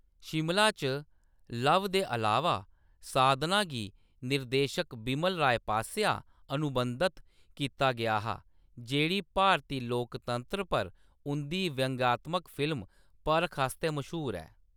शिमला च ‘लव' दे अलावा, 'साधना' गी, निर्देशक बिमल राय पासेआ अनुबंधत कीता गेआ हा जेह्‌‌ड़ी भारती लोकतंत्र पर उंʼदी व्यंगात्मक फिल्म ‘परख' आस्तै मश्हूर ऐ।